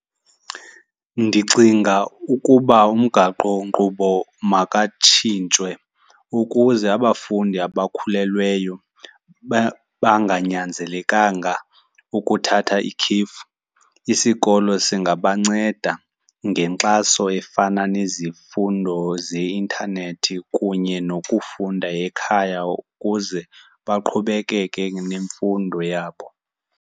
Ndicinga ukuba umgaqonkqubo makatshintshwe ukuze abafundi abakhulelweyo banganyanzelenkanga ukuthatha ikhefu. Isikolo singabanceda ngenkxaso efana nezifundo zeintanethi kunye nokufunda ekhaya ukuze baqhubekeke nemfundo yabo.